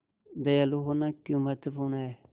दयालु होना क्यों महत्वपूर्ण है